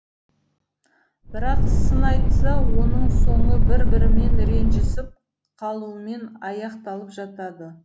бірақ сын айтса оның соңы бір бірімен ренжісіп қалуымен аяқталып жатады